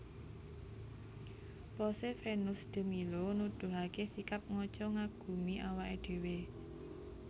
Pose Venus de Milo nuduhaké sikap ngaca ngagumi awaké dhéwé